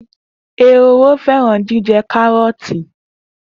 Ehoro fẹran jijẹ karọọti.